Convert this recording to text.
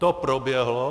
To proběhlo.